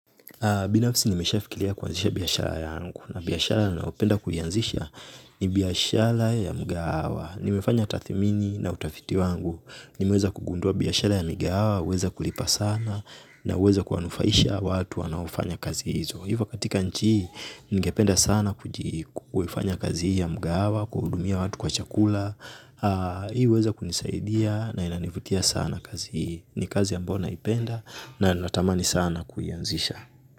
Binafsi nimesha fikira kuanzisha biashara yangu na biashara ninayopenda kuianzisha ni biashara ya mgahawa. Nimefanya tathimini na utafiti wangu. Nimeweza kugundua biashara ya migahawa, huweza kulipa sana naweza kuwanufaisha watu wanaofanya kazi hizo. Hivyo katika nchi hii, nigependa sana kuifanya kazi hii ya mgahawa, kuhudumia watu kwa chakula. Hii huweza kunisaidia na inanivutia sana kazi hii ni kazi amabyo naipenda na natamani sana kuianzisha.